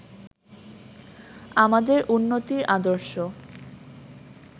আমাদের উন্নতির আদর্শ